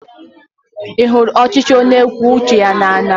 Ị hụrụ ọchịchị onye kwue uche ya n'anya?